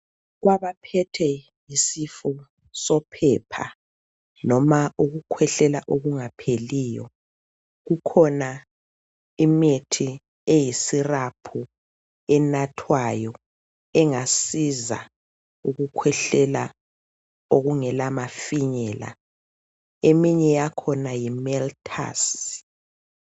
Kwabaphethwe yisifo sophepha loma ukukhwehlela okungapheliyo kukhona imithi eyi syrup enathwayo engasiza ukukhwehlela okungela mafinyela eminye yakhona yiMeltus.